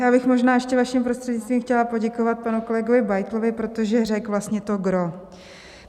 Já bych možná ještě vaším prostřednictvím chtěla poděkovat panu kolegovi Beitlovi, protože řekl vlastně to gros.